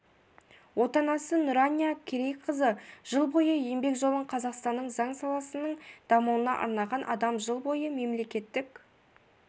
отанасы нұрания керейқызы жыл бойы еңбек жолын қазақстанның заң саласының дамуына арнаған адам жыл бойы мемлекеттік